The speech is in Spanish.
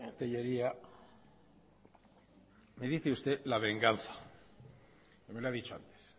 tellería me dice usted la venganza me lo ha dicho antes